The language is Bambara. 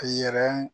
A yɛrɛ